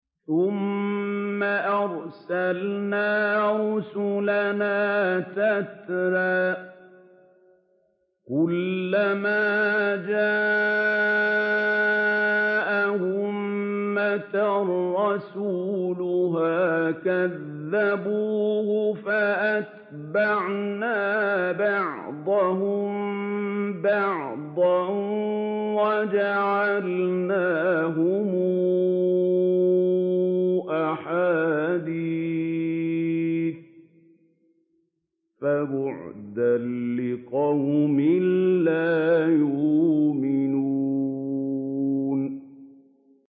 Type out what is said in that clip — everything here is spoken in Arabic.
ثُمَّ أَرْسَلْنَا رُسُلَنَا تَتْرَىٰ ۖ كُلَّ مَا جَاءَ أُمَّةً رَّسُولُهَا كَذَّبُوهُ ۚ فَأَتْبَعْنَا بَعْضَهُم بَعْضًا وَجَعَلْنَاهُمْ أَحَادِيثَ ۚ فَبُعْدًا لِّقَوْمٍ لَّا يُؤْمِنُونَ